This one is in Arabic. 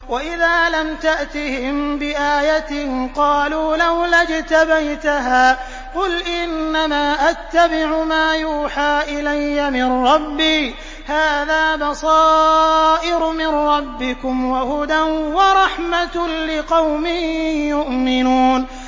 وَإِذَا لَمْ تَأْتِهِم بِآيَةٍ قَالُوا لَوْلَا اجْتَبَيْتَهَا ۚ قُلْ إِنَّمَا أَتَّبِعُ مَا يُوحَىٰ إِلَيَّ مِن رَّبِّي ۚ هَٰذَا بَصَائِرُ مِن رَّبِّكُمْ وَهُدًى وَرَحْمَةٌ لِّقَوْمٍ يُؤْمِنُونَ